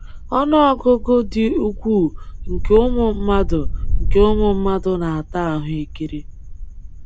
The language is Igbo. Ọnụọgụgụ dị ukwuu nke ụmụ mmadụ nke ụmụ mmadụ na-ata ahụekere.